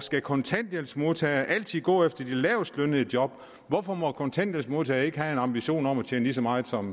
skal kontanthjælpsmodtagere altid gå efter de lavestlønnede job hvorfor må kontanthjælpsmodtagere ikke have en ambition om at tjene lige så meget som